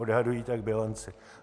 Odhadují tak bilanci.